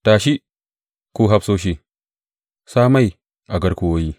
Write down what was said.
Tashi, ku hafsoshi, sa mai a garkuwoyi!